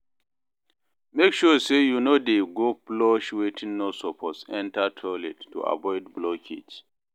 mek sure say yu no dey go flush wetin no soppose enta toilet to avoid blockage